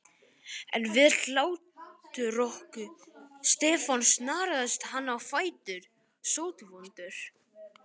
En við hláturroku Stefáns snaraðist hann á fætur, sótvondur.